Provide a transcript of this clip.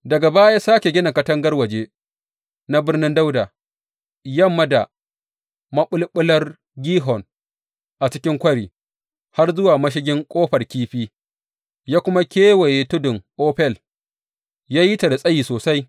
Daga baya ya sāke gina katangar waje na Birnin Dawuda, yamma da maɓulɓular Gihon a cikin kwari, har zuwa mashigin Ƙofar Kifi, ya kuma kewaye tudun Ofel; ya yi ta da tsayi sosai.